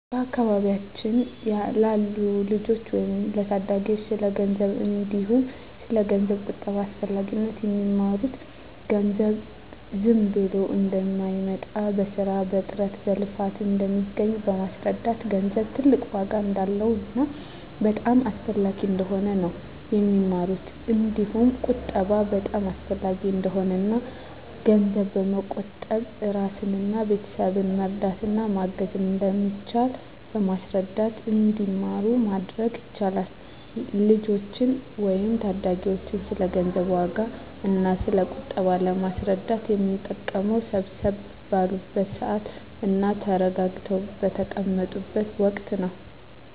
በአካባቢያችን ላሉ ልጆች ወይም ለታዳጊዎች ስለ ገንዘብ እንዲሁም ስለ ገንዘብ ቁጠባ አስፈላጊነት የሚማሩት ገንዘብ ዝም ብሎ እንደማይመጣ በስራ በጥረት በልፋት እንደሚገኝ በማስረዳት ገንዘብ ትልቅ ዋጋ እንዳለውና በጣም አስፈላጊ እንደሆነ ነው የሚማሩት እንዲሁም ቁጠባ በጣም አሰፈላጊ እንደሆነና እና ገንዘብ በመቆጠብ እራስንና ቤተሰብን መርዳት እና ማገዝ እንደሚቻል በማስረዳት እንዲማሩ ማድረግ ይቻላል። ልጆችን ወይም ታዳጊዎችን ስለ ገንዘብ ዋጋ እና ስለ ቁጠባ ለማስረዳት የምንጠቀመው ሰብሰብ ባሉበት ስዓት እና ተረጋግተው በተቀመጡት ወቀት ነው።